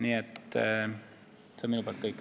Aitäh!